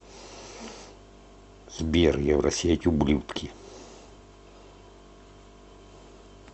сбер евросеть ублюдки